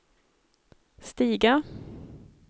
stiga